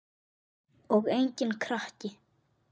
Og enginn krakki!